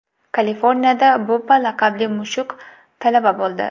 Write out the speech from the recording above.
Kaliforniyada Bubba laqabli mushuk talaba bo‘ldi.